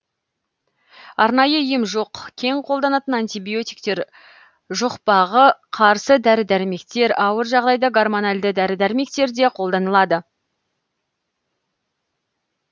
арнайы ем жоқ кең қолданатын антибиотиктер жұқпағы қарсы дәрі дәрмектер ауыр жағдайда гормональді дәрі дәрмектер де қолданылады